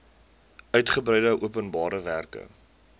uitgebreide openbare werke